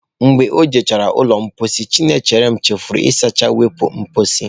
Mgbe o jechara ụlọ mposi, Chinecherem chefuru ịsacha iwupu mposi.